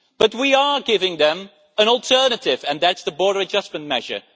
But we are giving them an alternative and that is the border adjustment measure.